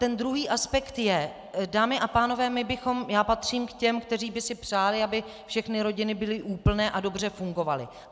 Ten druhý aspekt je, dámy a pánové, já patřím k těm, kteří by si přáli, aby všechny rodiny byly úplné a dobře fungovaly.